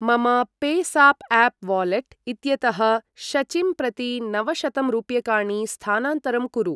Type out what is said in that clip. मम PayZapp app wallet इत्यतः शचिं प्रति नवशतं रूप्यकाणि स्थानान्तरं कुरु।